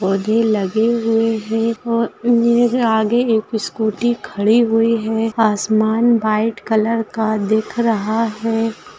पौधे लगे हुए हैं और आगे एक स्कूटी खड़ी हुई है आसमान व्हाइट कलर का दिख रहा है --